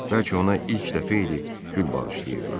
Bəlkə ona ilk dəfə idi gül bağışlayırdılar.